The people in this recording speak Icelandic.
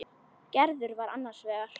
Gerður var annars vegar.